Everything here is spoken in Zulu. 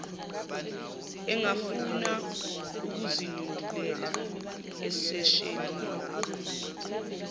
engafuna ukuzinyundela eseshelini